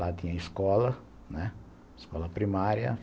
Lá tinha escola, né, escola primária.